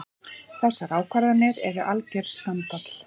Þessar ákvarðanir eru algjör skandall.